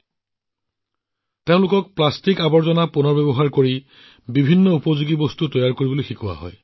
ইয়াত অধ্যয়ন কৰা ছাত্ৰছাত্ৰীসকলে প্ৰতি সপ্তাহত প্লাষ্টিকৰ আৱৰ্জনা সংগ্ৰহ কৰে যিটো ইটা আৰু চাবিৰ শিকলিৰ দৰে পৰিৱেশ অনুকূল সামগ্ৰী নিৰ্মাণত ব্যৱহাৰ কৰা হয়